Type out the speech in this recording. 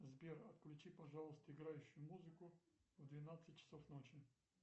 сбер отключи пожалуйста играющую музыку в двенадцать часов ночи